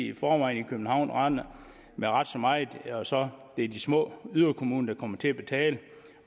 i forvejen render med ret så meget og så er det de små yderkommuner der kommer til at betale